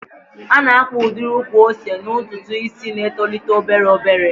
A na-akpa udiri ukwu ose n'ntụtụ isi na-etolite obere obere.